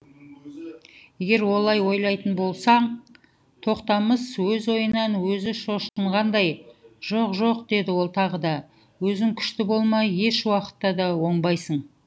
егер олай ойлайтын болсаң тоқтамыс өз ойынан өзі шошынғандай жоқ жоқ деді ол тағы да өзің күшті болмай еш уақытта да оңбайсың